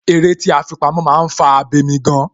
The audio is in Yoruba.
Eré tí a fi pamó, máa ń fà abemi gan.